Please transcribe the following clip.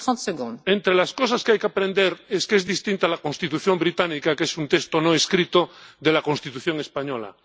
Señor Coburn, entre las cosas que hay que aprender es que es distinta la Constitución británica, que es un texto no escrito, de la Constitución española.